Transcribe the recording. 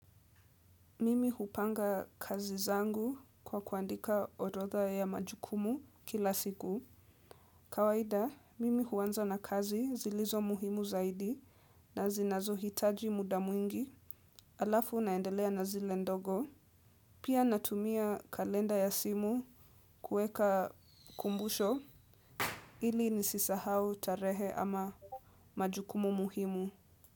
Mimi hupanga kazi zangu kwa kuandika orodha ya majukumu kila siku. Kawaida, mimi huanza na kazi zilizo muhimu zaidi na zinazo hitaji muda mwingi alafu naendelea na zile ndogo. Pia natumia kalenda ya simu kuweka kumbusho ili nisisahau tarehe ama majukumu muhimu.